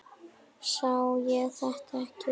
Sá ég þetta ekki?